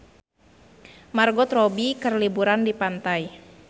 Margot Robbie keur liburan di pantai